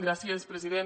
gràcies president